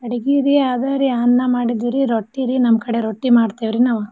ಅಡ್ಗಿ ರೀ ಅದ ರೀ ಅನ್ನ ಮಾಡಿದ್ವೀ ರೀ ರೊಟ್ಟೀ ರೀ ನಮ್ ಕಡೆ ರೊಟ್ಟೀ ಮಾಡ್ತೇವ್ ರೀ ನಾವ.